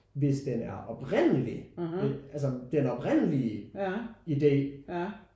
Hvis den er oprindelig men altså den oprindelige idé